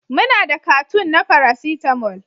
Muna da cartoon na paracetamol